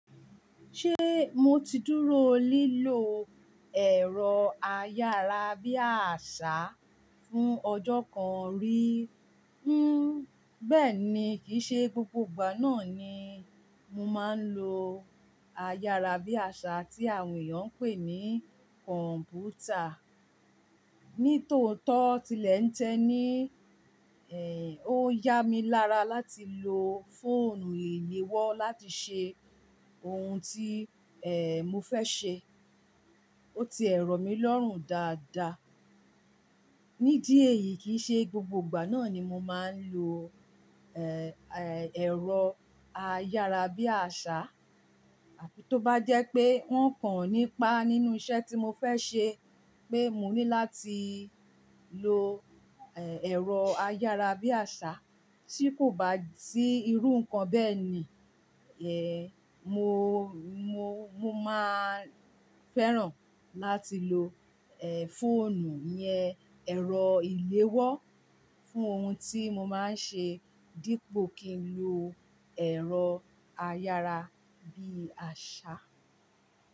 Ṣé mo ti dúró lílo ẹ̀rọ ayára bí àṣá fún ọjọ́ kan rí? Bẹ́ẹ̀ni, kìí ṣe gbogbo ìgbà náà ni mo máa ń lo ayára bí àṣá tí àwọn èèyàn ń pè ní kọ̀m̀pútà. Nítòótọ́ tilẹ̀ ń tẹni, ó yá mi lára láti lo fóònù ìléwọ́ láti ṣe ohun tí, mo fẹ́ ṣe. Ó ti ẹ̀ rọ mi lọ́rùn dáadáa. Nídí èyí kì í ṣe gbogbo ìgbà náà ni mo máa ń lo, ẹ̀rọ ayára bí àṣá. Àbí tó bá jẹ́ pé wọ́n kàn nípa nínú iṣẹ́ tí mo fẹ́ ṣe pé mo ní láti lo, ẹ́, ẹ̀rọ ayára bí àṣá tí kò bá sí irú nǹkan bẹ́ẹ̀ ni, ẹ́, mo, mo, mo máa fẹ́ràn láti lo, ẹ́, fóònù yẹn ẹ̀rọ ìléwọ́ fún ohun tí mo máa ń ṣe dípò kí n lo ẹ̀rọ ayára bí àṣá.